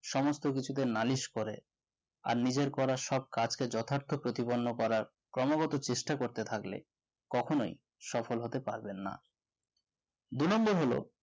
সমস্ত কিছুকে নালিশ করে আর নিজের করার সব কাজ কে যথার্থ প্রতিপন্ন করা ক্রমাগত চেষ্টা করতে থাকলে কখনোই সফল হতে পারবেন না দু number হল